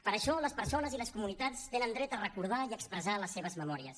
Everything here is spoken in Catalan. per això les persones i les comunitats tenen dret a recordar i a expressar les seves memòries